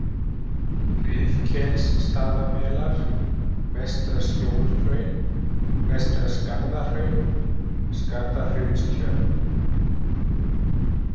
Rifkelsstaðamelar, Vestra-Skjólhraun, Vestra-Skarðahraun, Skarðahraunstjörn